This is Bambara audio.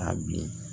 A bilen